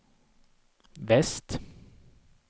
väst